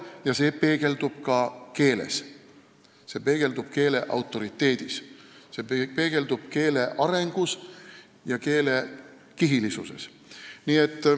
Ja see peegeldub ka keeles, see peegeldub keele autoriteedis, peegeldub keele arengus ja keele kihilisuses.